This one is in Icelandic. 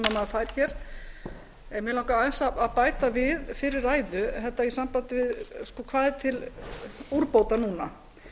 maður fær en mig langar aðeins að bæta við fyrri ræðu í sambandi við það hvað er til úrbóta núna